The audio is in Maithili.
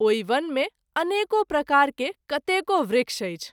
ओहि वन मे अनेको प्रकार के कतेको वृक्ष अछि।